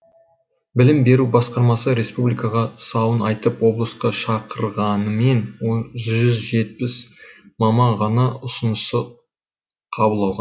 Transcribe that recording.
білім беру басқармасы республикаға сауын айтып облысқа шақырғанымен жүз жетпіс маман ғана ұсынысты қабыл